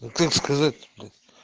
как сказать